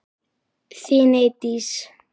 Þín Eydís.